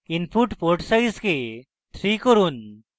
input port size কে 3 করুন